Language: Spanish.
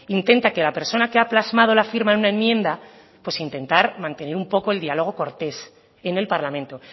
intenta que la persona que ha plasmado la firma en una enmienda pues intentar mantener un poco el diálogo cortés en el parlamento